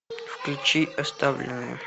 включи оставленные